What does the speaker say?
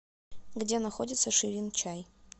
где находится ширин чай